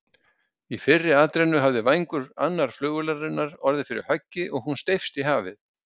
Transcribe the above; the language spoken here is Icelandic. Í fyrri atrennu hafði vængur annarrar flugvélarinnar orðið fyrir höggi og hún steypst í hafið.